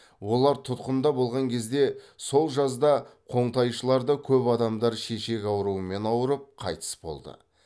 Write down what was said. олар тұтқында болған кезде сол жазда қоңтайшыларда көп адамдар шешек ауруымен ауырып қайтыс болды